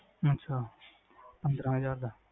ਅੱਛਾ, ਪੰਦਰਾਂ ਹਜਾਰ ਦਾ